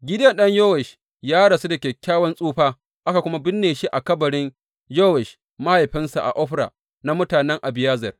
Gideyon ɗan Yowash ya rasu da kyakkyawan tsufa aka kuma binne shi a kabarin Yowash mahaifinsa a Ofra na mutanen Abiyezer.